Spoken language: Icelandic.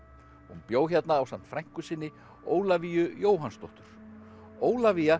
hún bjó hérna ásamt frænku sinni Ólafíu Jóhannsdóttur Ólafía